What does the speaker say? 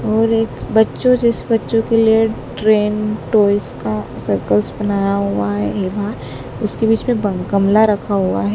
और एक बच्चों जिस बच्चों के लिए ट्रेन टॉयज का सर्कल्स बनाया हुआ है हे बहार उसके बीच में बम गमला रखा हुआ है।